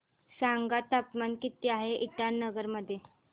सांगा तापमान किती आहे इटानगर मध्ये